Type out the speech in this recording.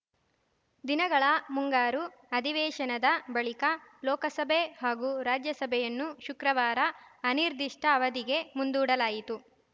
ದಿನಗಳ ಮುಂಗಾರು ಅಧಿವೇಶನದ ಬಳಿಕ ಲೋಕಸಭೆ ಹಾಗೂ ರಾಜ್ಯಸಭೆಯನ್ನು ಶುಕ್ರವಾರ ಅನಿರ್ದಿಷ್ಟಅವಧಿಗೆ ಮುಂದೂಡಲಾಯಿತು